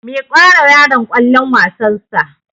Miƙawa yaron kwallon wasar sa